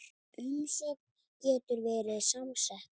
Umsögn getur verið samsett